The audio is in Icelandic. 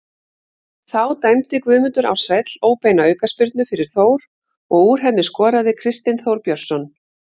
Þá dæmdi Guðmundur Ársæll óbeina aukaspyrnu fyrir Þór og úr henni skoraði Kristinn Þór Björnsson.